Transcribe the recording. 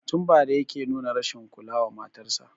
Tun bara yake nuna rashin kula wa matarsa